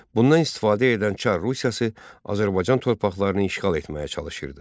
Bundan istifadə edən Çar Rusiyası Azərbaycan torpaqlarını işğal etməyə çalışırdı.